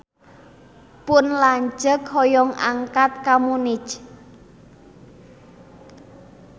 Pun lanceuk hoyong angkat ka Munich